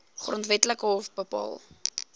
grondwetlike hof bepaal